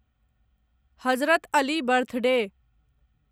Hazrat Ali birthday